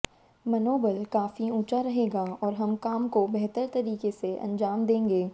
मनोबल काफी ऊंचा रहेगा और हर काम को बेहतर तरीके से अंजाम देंगे